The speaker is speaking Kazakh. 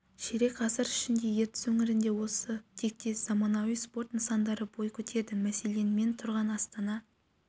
ширек ғасыр ішінде ертіс өңірінде осы тектес заманауи спорт нысандары бой көтерді мәселен мен тұрған астана